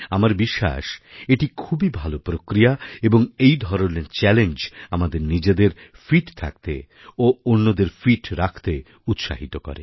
আমার বিশ্বাস এটি খুবই ভালো প্রক্রিয়া এবং এই ধরনের চ্যালেঞ্জ আমাদের নিজেদের ফিট থাকতে ও অন্যদের ফিট রাখতে উৎসাহিত করে